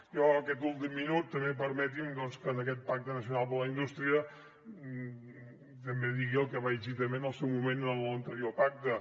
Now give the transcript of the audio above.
i aquest últim minut també permeti’m doncs que en aquest pacte nacional per a la indústria també digui el que vaig dir també en el seu moment en l’anterior pacte